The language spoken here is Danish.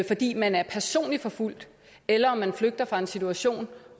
fordi man er personligt forfulgt eller om man flygter fra en situation